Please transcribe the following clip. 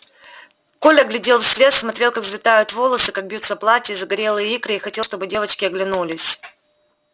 коля глядел вслед смотрел как взлетают волосы как бьются платья и загорелые икры и хотел чтобы девочки оглянулись